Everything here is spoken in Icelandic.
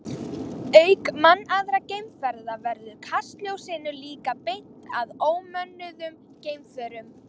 Auk mannaðra geimferða verður kastljósinu líka beint að ómönnuðum geimförum.